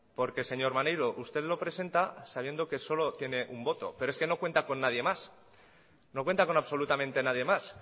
porque señor maneiro usted lo presenta sabiendo que solo tiene un voto pero es que no cuenta con nadie más no cuenta con absolutamente nadie más